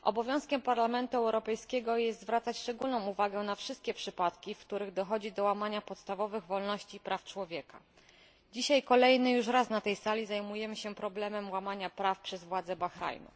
Panie Przewodniczący! Obowiązkiem Parlamentu Europejskiego jest zwracać szczególną uwagę na wszystkie przypadki, w których dochodzi do łamania podstawowych wolności i praw człowieka. Dzisiaj kolejny już raz na tej sali zajmujemy się problemem łamania praw przez władze Bahrajnu.